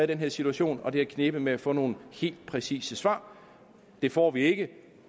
den her situation og det har knebet med at få nogle helt præcise svar det får vi ikke